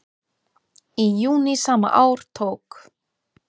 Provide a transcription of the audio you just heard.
Í júní sama ár tók